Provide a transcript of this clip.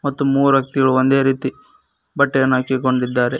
ಮತ್ತು ಮೂವರು ವ್ಯಕ್ತಿಗಳು ಒಂದೇ ರೀತೀ ಬಟ್ಟೆಯನ್ನು ಹಾಕಿಕೊಂಡಿದ್ದಾರೆ.